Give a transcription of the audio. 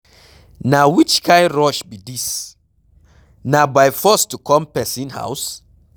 Na which kin rush be dis, na by force to come person house?